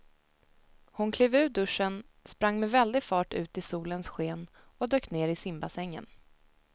Hon klev ur duschen, sprang med väldig fart ut i solens sken och dök ner i simbassängen.